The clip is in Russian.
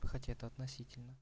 хотя это относительно